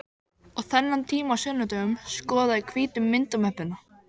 Og þennan tíma á sunnudögum skoða ég hvítu myndamöppuna.